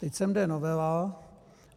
Teď sem jde novela.